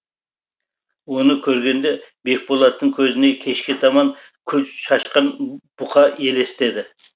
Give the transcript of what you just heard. оны көргенде бекболаттың көзіне кешке таман күл шашқан бұқа елестеді